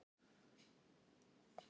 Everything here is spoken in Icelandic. Tónlist Bjarkar finnst mörgum heillandi.